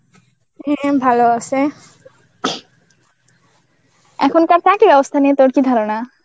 হ্যাঁ ভালো আছে. এখনকার চাকরির অবস্থা নিয়ে তোর কি ধারণা?